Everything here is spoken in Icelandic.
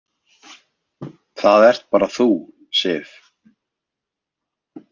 Það ert bara þú, Sif.